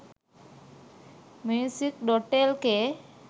music.lk